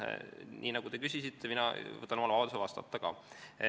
Nii nagu te küsisite, võtan mina vabaduse ka vastata.